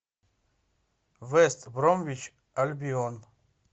вест бромвич альбион